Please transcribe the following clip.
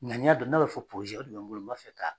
Ŋaniya don n'a bɛ fɔ o de bɛ n bolo n b'a fɛ ka